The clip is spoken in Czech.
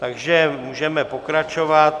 Takže můžeme pokračovat.